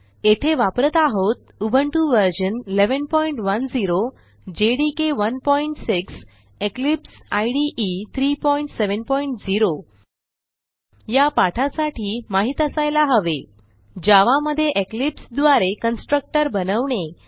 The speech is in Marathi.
येथे वापरत आहोत Ubuntu version 1110 JDK 16 Eclipse IDE 370 या पाठासाठी माहित असायला हवे जावा मधे इक्लिप्स द्वारे कन्स्ट्रक्टर बनवणे